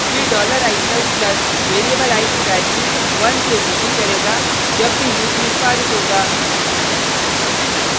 फिर $i++ variable i की value 1 से वृद्धि करेगा जब भी लूप निष्पादित होगा